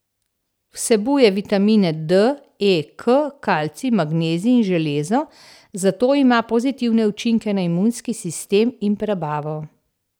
Vsebuje vitamine D, E, K, kalcij, magnezij in železo, zato ima pozitivne učinke na imunski sistem in prebavo.